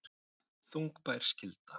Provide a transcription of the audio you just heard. Þungbær skylda